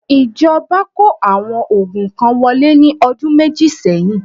ìjọba kó àwọn oògùn kan wọlé ní ọdún méjì seyin